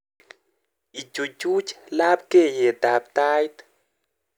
Ichuchuch labkeiyetab Tait